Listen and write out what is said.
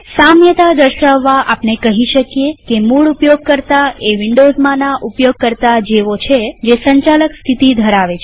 સામ્યતા દર્શાવવા આપણે કહી શકીએ કે મૂળ ઉપયોગકર્તા એ વિન્ડોવ્ઝમાંના ઉપયોગકર્તા જેવું છે જે સંચાલક સ્થિતિ ધરાવે છે